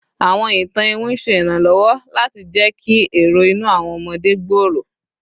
Awọn itan iwin ṣe iranlọwọ lati jẹ ki ero inu awọn ọmọde gbooro